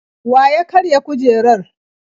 Wa ya karya kujerar?